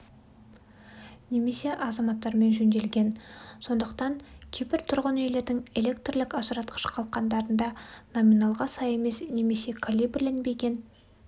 немесе азаматтармен жөнделген сондықтан кейбір тұрғын үйлердің электрлік ажыратқыш қалқандарында номиналға сай емес немесе калибрленбеген